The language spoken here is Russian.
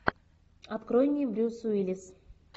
открой мне брюс уиллис